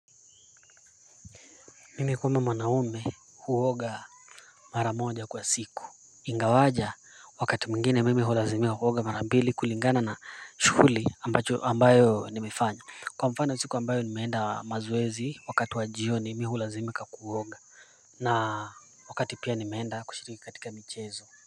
Mimi kama mwanaume huoga mara moja kwa siku. Ingawaje wakati mwingine mimi hulazimika kuoga mara mbili kulingana na shughuli ambayo nimefanya. Kwa mfano siku ambayo nimeenda mazoezi wakati wa jioni mi hulazimika kuoga na wakati pia nimeenda kushiriki katika michezo.